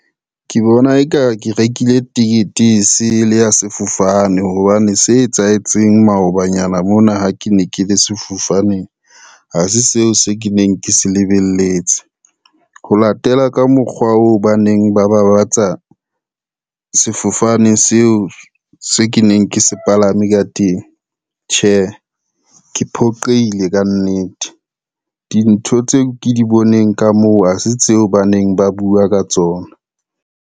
Ke bona eka ke rekile tekete e sele ya sefofane hobane se etsahetseng maobanyana mona ha ke ne ke le sefofaneng, ha se seo se ke neng ke se lebelletse. Ho latela ka mokgwa oo ba neng ba babatsa sefofane seo se ke neng ke se palame ka teng. Tjhe, ke phoqeile ka nnete dintho tseo ke di boneng ka moo ha se tseo ba neng ba bua ka tsona.